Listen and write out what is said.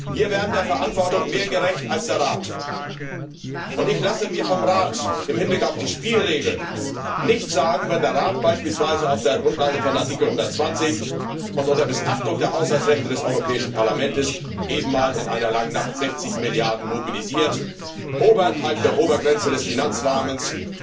Wir werden der Verantwortung mehr gerecht als der Rat, und ich lasse mir vom Rat im Hinblick auf die Spielregeln nichts sagen, wenn der Rat beispielsweise auf der Grundlage von Artikel 120 und unter Missachtung der Haushaltsrechte des Europäischen Parlaments eben mal in einer langen Nacht 60 Milliarden mobilisiert, oberhalb der Obergrenze des Finanzrahmens